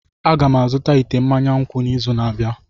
Aga m azụta ite mmanya nkwụ n'izu na-abịa.